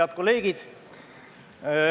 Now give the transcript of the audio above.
Head kolleegid!